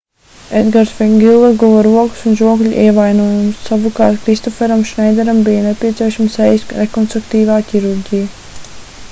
edgars vegilla guva rokas un žokļa ievainojumus savukārt kristoferam šneideram bija nepieciešama sejas rekonstruktīvā ķirurģija